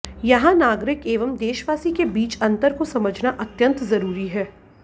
यहां नागरिक एवं देशवासी के बीच अंतर को समझना अत्यंत जरूरी है